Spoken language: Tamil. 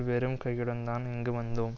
வெறும் கையுடன் தான் இங்கு வந்தோம்